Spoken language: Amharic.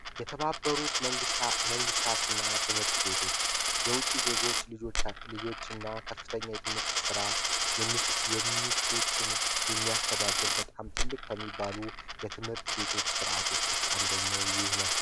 የተባበሩት መንግስታትና ትምህርት ቤቶች የውጭ ዜጎች ልጆችና ከፍተኛ ስራ የሚሹ የሚያስተዳደር ነው በጣም ትልቅ ከሚባሉ ድርጅቶች አንዱ ነው